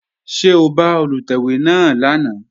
Ṣé o bá Olùtẹ̀wé náà lánàá?